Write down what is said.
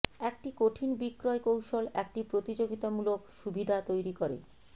একটি কঠিন বিক্রয় কৌশল একটি প্রতিযোগিতামূলক সুবিধা তৈরি করে